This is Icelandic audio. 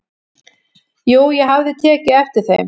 """Jú, ég hafði tekið eftir þeim."""